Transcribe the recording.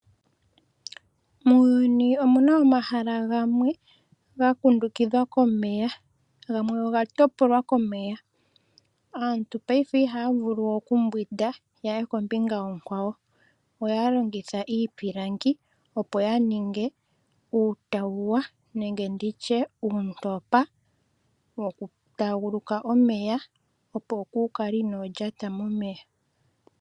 Muuyuni omuna omahala gamwe ga kundukidhwa komeya gamwe oga topolwa komeya. Aantu paife ihaya vulu we okumbwinda ya ye kombinga onkwawo ohaya longitha iipilangi opo ya ninge uutauwa nenge nditye uuntopa woku taaguluka omeya opo yakale inaya lyata momeya.